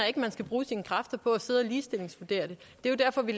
ikke man skal bruge sine kræfter på at sidde og ligestillingsvurdere det det er derfor vi